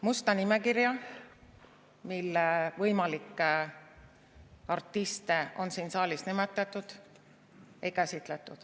Musta nimekirja, mille võimalikke artiste on siin saalis nimetatud, ei käsitletud.